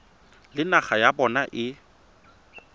le naga ya bona e